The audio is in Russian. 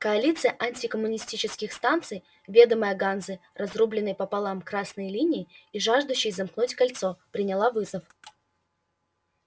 коалиция антикоммунистических станций ведомая ганзой разрубленной пополам красной линией и жаждущей замкнуть кольцо приняла вызов